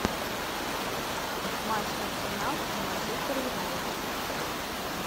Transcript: матч арсенал и манчестер юнайтед